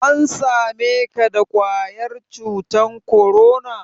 An same ka da ƙwayar cutan korona?